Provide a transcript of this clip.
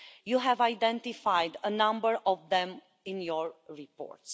You have identified a number of them in your report.